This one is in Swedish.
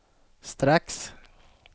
strax